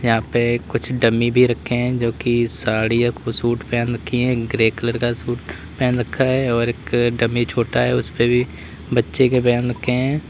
यहां पे कुछ डमी भी रखे हैं जो कि साड़ी या कुछ सूट पहन रखी है ग्रे कलर का सूट पहन रखा है और एक डमी छोटा है उसपे भी बच्चे के पहन रखे हैं।